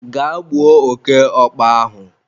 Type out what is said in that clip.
gaa gbuo oke okpa ahụ!